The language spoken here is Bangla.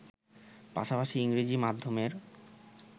পাশাপাশি ইংরেজি মাধ্যমের